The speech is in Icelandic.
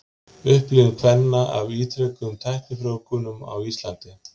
Upplifun kvenna af ítrekuðum tæknifrjóvgunum á Íslandi.